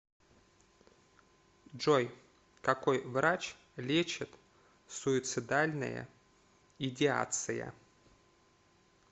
джой какой врач лечит суицидальная идеация